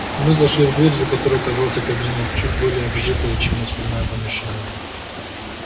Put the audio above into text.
мы зашли в дверь за которой оказался кабинет чуть более обжитое чем остальное помещение